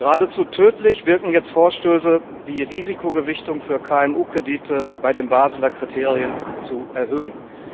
Geradezu tödlich wirken jetzt Vorstöße, die Risikogewichtung für KMU Kredite bei den Baseler Kriterien zu erhöhen.